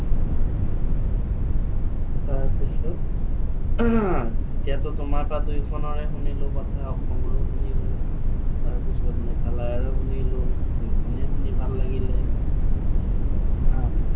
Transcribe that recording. তাৰপিছত, এতিয়াতো তোমাৰ তাৰ খনৰ কথা শুনিলো অসমৰো শুনিলো। তাৰপিছত মেঘালয়ৰো শুনিলো। দুইখনেই শুনি ভাল লাগিলে। অ